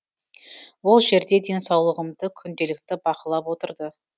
ол жерде денсаулығымды күнделікті бақылап отырды